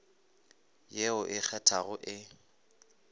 ye o e kgethago e